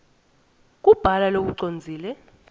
kubhala lokucondzile